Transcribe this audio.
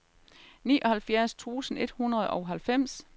nioghalvfjerds tusind et hundrede og halvfems